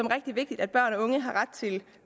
rigtig vigtigt at børn og unge har ret til